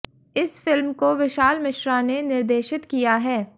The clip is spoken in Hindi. इस फिल्म को विशाल मिश्रा ने निर्देशित किया है